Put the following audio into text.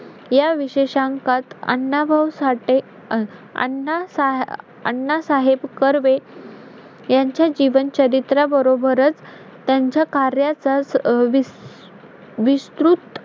तांदूळ जास्त पिकतात कोकमळ आमच्याकडे जास्त होतात तु मुंबई कड गेल्याच्यानंतर मजाच मजा येते आमच्या गावी.